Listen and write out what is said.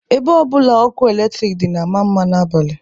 Ebe ọbụla ọkụ eletrik dị na-ama mma n'abalị